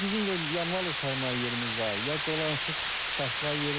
Bizim də mal otarmağa yerimiz var, ya dolanışıq çıxartmağa yerimiz var.